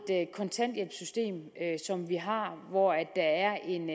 kontanthjælpssystem som vi har hvor der er en